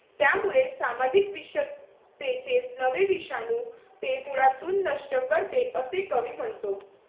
त्यामुळे सामाजिक विषमतेचे नवे विषाणू ते मुळातून नष्ट करते, असे कवी म्हणतो